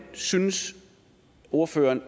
synes ordføreren